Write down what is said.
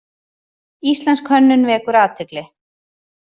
Íslensk hönnun vekur athygli